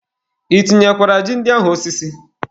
I tinyekwara ji ndị ahụ osisi?